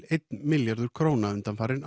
einn milljarður króna undanfarin